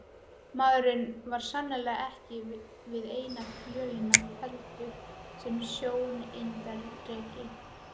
Maðurinn var sannarlega ekki við eina fjölina felldur sem stjórnarerindreki!